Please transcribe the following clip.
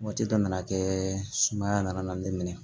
Waati dɔ nana kɛ sumaya nana ne minɛ